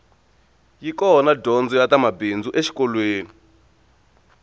yi kona dyondzo ya ta mabindzu exikolweni